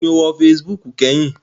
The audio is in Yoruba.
Ìgbà wo ni o lò facebook kẹ́hìn?